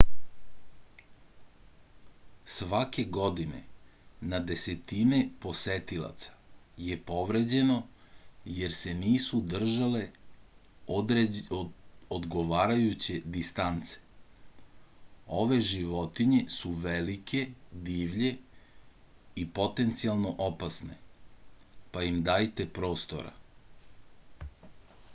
svake godine na desetine posetilaca je povređeno jer se nisu držali odgovarajuće distance ove životinje su velike divlje i potencijalno opasne pa im dajte prostora